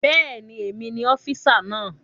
Bẹ́ẹ̀ni, èmi ni ọ́físà náà